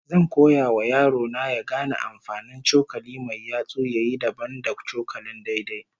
Zan koya wa yaro na ya gane amfanin cokali mai yatsu ya yi dabam da cokalin daidai